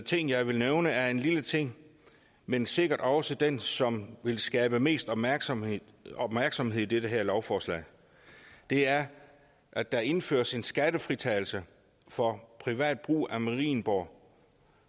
ting jeg vil nævne er en lille ting men sikkert også den som vil skabe mest opmærksomhed opmærksomhed i det her lovforslag det er at der indføres en skattefritagelse for privat brug af marienborg